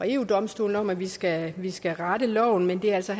eu domstolen om at vi skal vi skal rette loven men det er altså